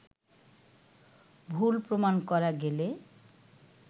ভুল প্রমাণ করা গেলে